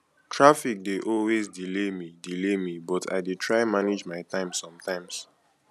traffic dey always delay me delay me but i dey try manage my time somtimes